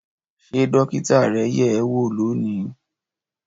Ṣé dókítà rẹ yẹ̀ ẹ́ wò lónìí